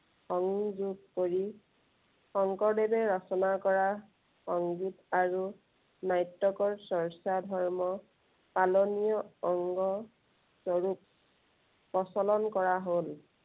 সংযোগ কৰি, শংকৰদেৱে ৰচনা কৰা সংগীত আৰু নাট্য়কৰ চৰ্চা ধৰ্ম পালনীয় অংগ স্বৰূপ প্ৰচলন কৰা হ'ল।